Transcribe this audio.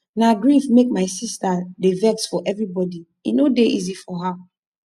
na grief make my sista dey vex for everybodi e no dey easy for her